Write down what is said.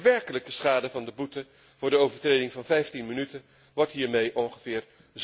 De werkelijke schade van de boete voor de overtreding van 15 minuten wordt hiermee ongeveer